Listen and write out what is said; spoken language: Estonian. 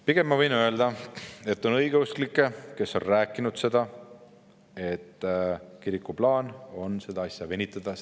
Pigem ma võin öelda, et on õigeusklikke, kes on rääkinud sellest, et kiriku plaan ongi seda protsessi venitada.